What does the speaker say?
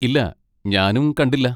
ഇല്ല, ഞാനും കണ്ടില്ല.